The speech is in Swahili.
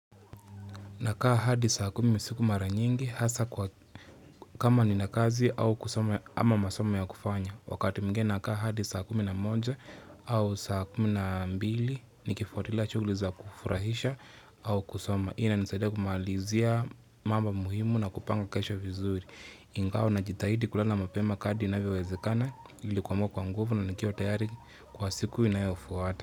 Nakaa hadi saa kumi siku mara nyingi hasa kwa kama ninakazi au kusoma ama masoma ya kufanya. Wakati mwingine nakaa hadi saa kumi na moja au saa kumi na mbili nikifuatilia shughli za kufurahisha au kusoma. Hii inanisaidia kumalizia mambo muhimu na kupanga kesho vizuri. Ingawa na jitahidi kulala mapema kadri inavyowezekana ilikuwa kuamka kwa nguvu na nikiwa tayari kwa siku inayofuata.